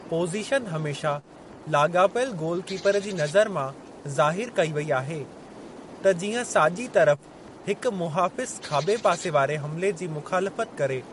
Position हमेशा लाॻापियलु goalkeeper जी नज़र मां ज़ाहिरु कई वेई आहे त जीअं साॼी तरफ़ हिकु मुहाफ़िज़ खाॿे पासे वारे हमिले जी मुख़ालिफ़त करे।